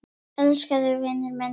Ég elska þig, vinur minn.